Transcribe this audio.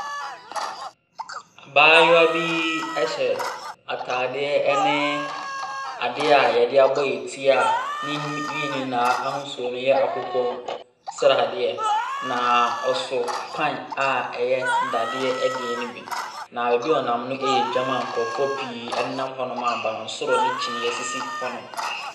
Abaayewa bi ɛhyɛ ataadeɛ ɛne adeɛ a yɛde abɔyɛnti a ne nyinaa ahosuo no yɛ akokɔ sradeɛ. Na ɔso pan a ɛyɛ dadeɛ deɛ no bi. Na baabi a ɔnam no yɛ edwa mu a nkorɔfoɔ pii ɛne nam hɔ a abansoro ne kyiniiɛ esisi hɔ nom.